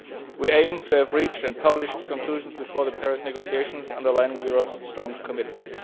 action. We aim to have reached and published the conclusions before the Paris negotiations underlining Europe's strong commitment.